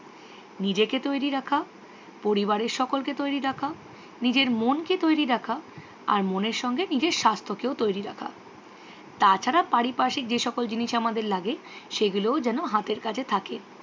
নিজেকে তৈরি রাখা পরিবারের সকলকে তৈরি রাখা নিজের মন কে তৈরি রাখা আর মনের সঙ্গে নিজের স্বাস্থ্যকেও তৈরি রাখা। তাছাড়া পারিপার্শ্বিক যে সকল জিনিস আমাদের লাগে সেগুলোও যেন হাতের কাছে থাকে।